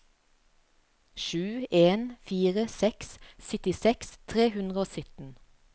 sju en fire seks syttiseks tre hundre og sytten